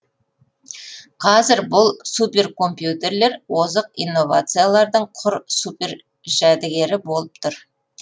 қазір бұл суперкомпьютерлер озық инновациялардың құр супер жәдігері болып тұр